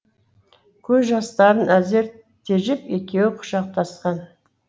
көз жастарын әзер тежеп екеуі құшақтасқан